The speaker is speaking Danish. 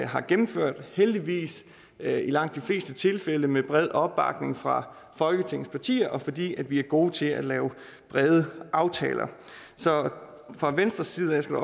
har gennemført heldigvis i langt de fleste tilfælde med bred opbakning fra folketingets partier fordi vi er gode til at lave brede aftaler så fra venstres side skal